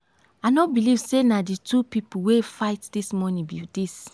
i no believe say na the two people wey fight dis morning be dis.